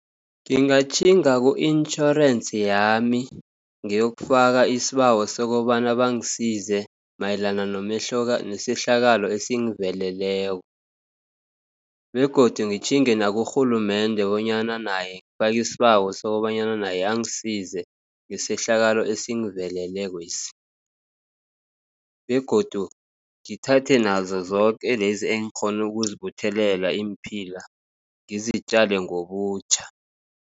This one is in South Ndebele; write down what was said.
Ngingatjhinga ku-insurance yami, ngiyokufaka isibawo sokobana bangisize mayelana nesehlakalo esingiveleleko, begodu ngitjhinge nakurhulumende bonyana naye ngifaki isibawo sokobanyana naye angisize, ngesehlakalo esingivelelekwesi, begodu ngithathe nazozoke lezi engikghonu ukuzibuthelela iimphila ngizitjale ngobutjha.